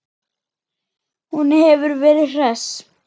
Hún hefur verið hress?